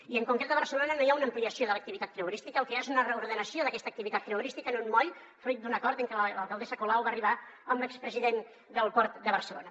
i en concret a barcelona no hi ha una ampliació de l’activitat creuerística el que hi ha és una reordenació d’aquesta activitat creuerística en un moll fruit d’un acord a què l’alcaldessa colau va arribar amb l’expresident del port de barcelona